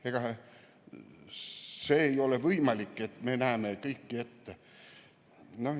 Ega see ei ole võimalik, et me näeme kõike ette.